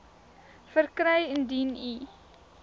verkry indien u